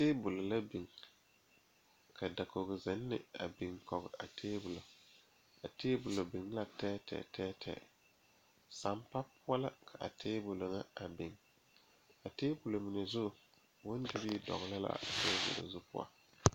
Tabolɔ la biŋ ka dakogre ane tabol biŋ a be ka bibile a be a be ka poolo meŋ be a be komie pare tabol zu ane laare kaa.